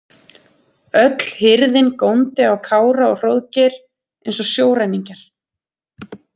Öll hirðin góndi á Kára og Hróðgeir eins og sjóræningjar.